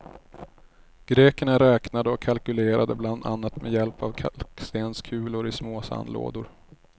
Grekerna räknade och kalkylerade bland annat med hjälp av kalkstenskulor i små sandlådor.